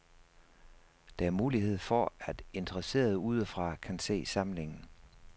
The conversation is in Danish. Der er mulighed for, at interesserede udefra kan se samlingen.